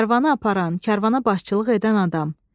Karvanı aparan, karvana başçılıq edən adam.